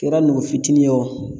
Kɛra nugu fitinin ye o